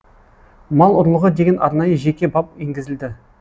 мал ұрлығы деген арнайы жеке бап енгізілді